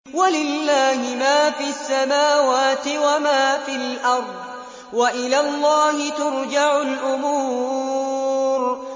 وَلِلَّهِ مَا فِي السَّمَاوَاتِ وَمَا فِي الْأَرْضِ ۚ وَإِلَى اللَّهِ تُرْجَعُ الْأُمُورُ